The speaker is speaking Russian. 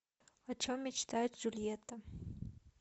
о чем мечтает джульетта